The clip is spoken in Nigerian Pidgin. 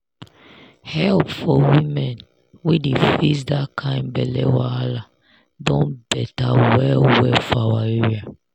help for women wey dey face that kind belle wahala don better well well for our area